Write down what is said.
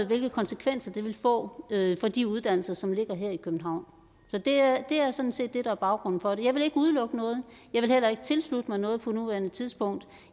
hvilke konsekvenser det vil få for de uddannelser som ligger her i københavn så det er er sådan set det der er baggrunden for det jeg vil ikke udelukke noget jeg vil heller ikke tilslutte mig noget på nuværende tidspunkt